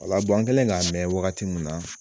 O la an kɛlen k'a mɛn wagati min na